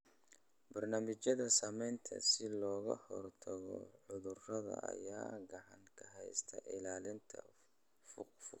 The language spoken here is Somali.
Barnaamijyada Samaynta si looga hortago cudurrada ayaa gacan ka geysta ilaalinta funguska.